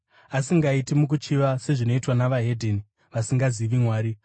asingaiti mukuchiva sezvinoitwa navahedheni, vasingazivi Mwari;